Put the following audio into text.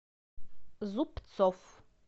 зубцов